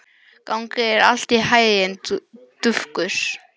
Gangi þér allt í haginn, Dufgus.